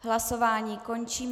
Hlasování končím.